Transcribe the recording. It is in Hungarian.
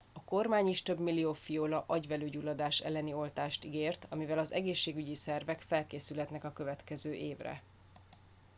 a kormány is több millió fiola agyvelőgyulladás elleni oltást ígért amivel az egészségügyi szervek felkészülhetnek a következő évre